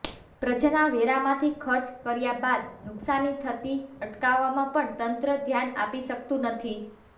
પ્રજાના વેરામાંથી ખર્ચ કર્યા બાદ નુકસાની થતી અટકાવવામાં પણ તંત્ર ધ્યાન આપી શકતું નથી